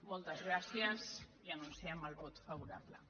moltes gràcies i anunciem el vot favorable